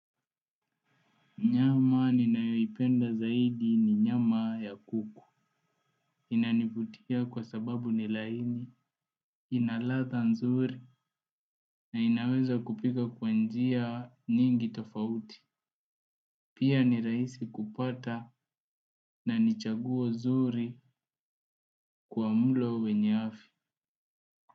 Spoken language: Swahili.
Nyama ninayoipenda zaidi ni nyama ya kuku. Inanivutia kwa sababu ni laini, ina latha nzuri na inaweza kupika kwa njia nyingi tofauti. Pia ni rahisi kupata na ni chaguo zuri kwa mlo wenye afya.